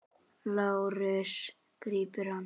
LÁRUS: Grípið hann!